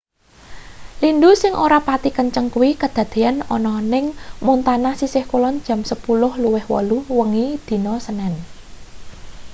lindhu sing ora pati kenceng kuwi kadadeyan ana ning montana sisih kulon jam 10.08 wengi dina senen